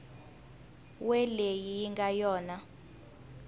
we leyi yi nga yona